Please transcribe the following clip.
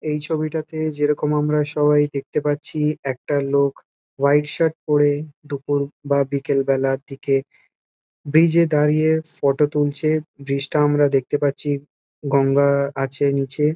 এই ছবিটাতে যেরকম আমরা সবাই দেখতে পাচ্ছি একটা লোক হোয়াইট শার্ট পরে দুপুর বা বিকেল বেলার দিকে ব্রিজ -এ দাঁড়িয়ে ফটো তুলছে। ব্রিজ -টা আমরা দেখতে পাচ্ছি গঙ্গা-আ আছে নিচে।